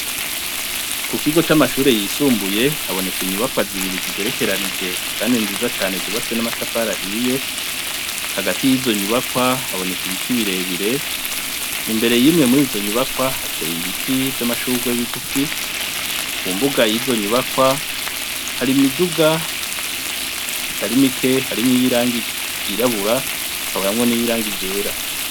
Ku kigo c'amashure yisumbuye haboneka inyubakwa zibiri zigerekeranije kandi nziza cane zubatswe n'amatafari ahiye, hagati y'izo nyubakwa haboneka ibiti birebire , imbere y'imwe murizo nyubakwa hateye ibiti vy'amashurwe bigufi ku mbuga y'izo nyubakwa hari imiduga itari mike harimwo iy'irangi ryirabura hakabamwo n'iyirangi ryera .